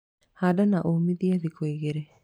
Handa na ũmithie thikũ igĩrĩ.